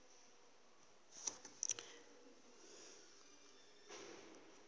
wo ye nngwe ya re